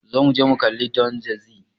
Zo muje mu kalli Don Jazzy.